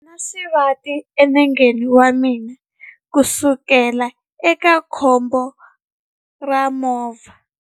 Ndzi na xivati enengeni wa mina kusukela eka khombo ra movha.